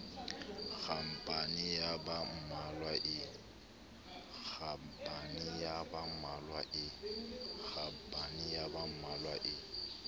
khampani ya ba mmalwa e